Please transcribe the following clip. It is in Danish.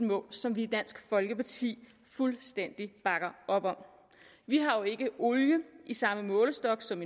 mål som vi i dansk folkeparti fuldstændig bakker op om vi har jo ikke olie i samme målestok som